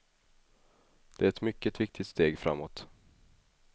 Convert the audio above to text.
Det är ett mycket viktigt steg framåt.